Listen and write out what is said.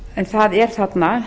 en það er þarna